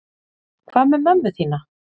Hvað með mömmu þína?